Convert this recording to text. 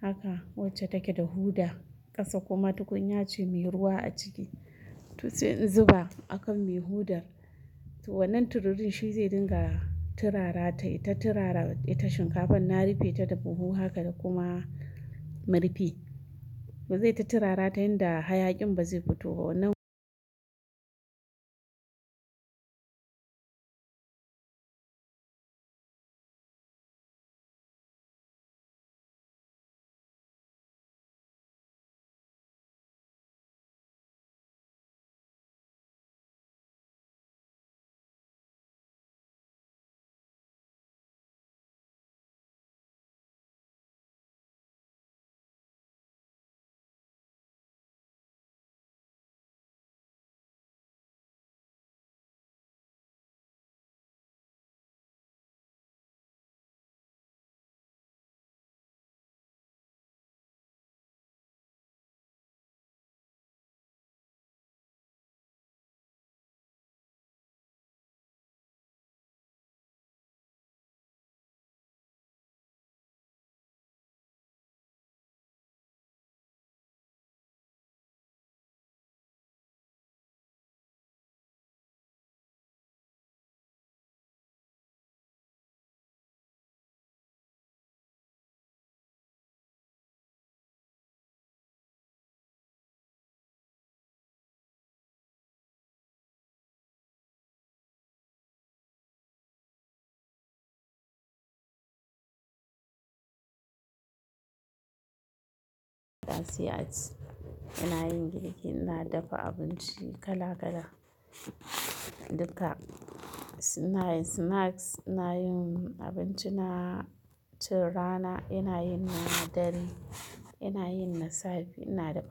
haka wacce take da huda ƙasa kuma tukunya ce mai ruwa a ciki to sai in zuba akan mai hoda wannan tiririn shizai dinga tirara, taita tirara ita shinkafar na rifeta da buhu haka da kuma murfi zaita tirarata yanda hayaƙin bazai futu ba sai a ci ranar girki ina dafa abinci kala kala duka, inayin snacks, inayin abincina tun rana, inayin na dare, inayin na safe, ina dafa.